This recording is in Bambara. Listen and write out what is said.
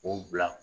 O bila